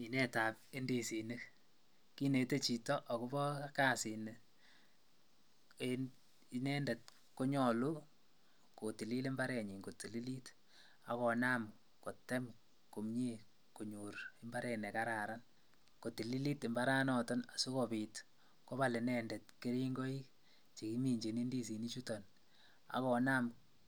Minetab indisinik kinete chito akobo kasini en inendet konyolu kotilil imbarenyin kotililit ak konam kotem komie konyor imbaret nekararan, kotililit imbaranoton asikobit kobal inendet kering'oi chekiminchin indisinichuton ak konam